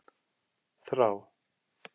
Þrá